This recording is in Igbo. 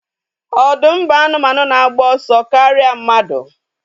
Ọdụm bụ anụmanụ na-agba ọsọ karịa mmadu